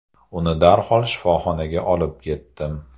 Uni darhol shifoxonaga olib ketdim.